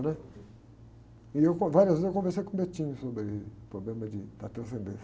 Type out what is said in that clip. né? E eu con, várias vezes eu conversei com o sobre o problema de, da transcendência.